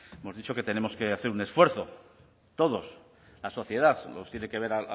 hemos dicho que tenemos que hacer un esfuerzo todos la sociedad nos tiene que ver